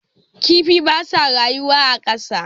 Kifi ba sa rayuwa a ƙasa.